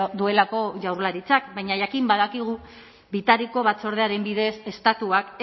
duelako jaurlaritzak baina jakin badakigu bitariko batzordearen bidez estatuak